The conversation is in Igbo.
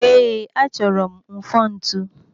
Ee, achọrọ m mfontu?